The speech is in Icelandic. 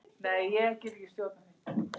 Betra verður vart boðið.